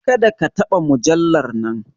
Kada ka taba mujallar nan!